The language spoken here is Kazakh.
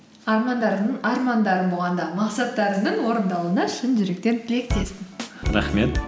армандарың армандарың болғанда мақсаттарыңның орындалуына шын жүректен тілектеспін рахмет